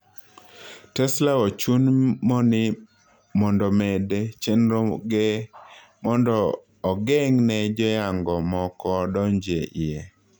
Tesla ochun mni medo chendro ge mondo ogeng' ne joyango moko donjie eie.